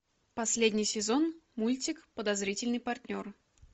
последний сезон мультик подозрительный партнер